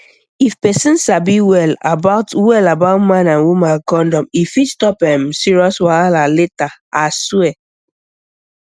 if person sabi well about well about man and woman condom e fit stop um serious wahala later aswear